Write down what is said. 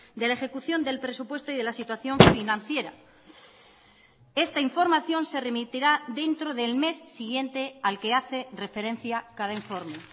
de la ejecución del presupuesto y de la situación financiera esta información se remitirá dentro del mes siguiente al que hace referencia cada informe